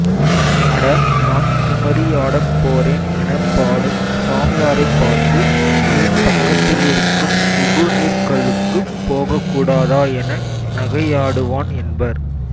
அட நான் குமரியாடப் போரேன் எனப் பாடும் சாமியாரைப் பார்த்து ஏன் பக்கத்திலிருக்கும் உகுநீர்கல்லுக்குப் போகக்கூடாதா என நகையாடுவான் என்பர்